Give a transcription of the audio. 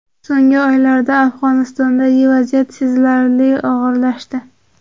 So‘nggi oylarda Afg‘onistondagi vaziyat sezilarli og‘irlashdi.